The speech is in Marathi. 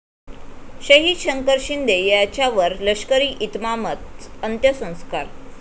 शहीद शंकर शिंदे यांच्यावर लष्करी इतमामात अंत्यसंस्कार